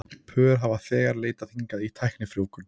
Pör hafa þegar leitað hingað í tæknifrjóvgun.